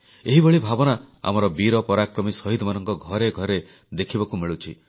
ଏହିଭଳି ଭାବନା ଆମର ବୀର ପରାକ୍ରମୀ ଶହୀଦମାନଙ୍କ ଘରେ ଘରେ ଦେଖିବାକୁ ମିଳୁଛି